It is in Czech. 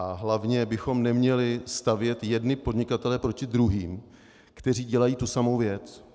A hlavně bychom neměli stavět jedny podnikatele proti druhým, kteří dělají tu samou věc.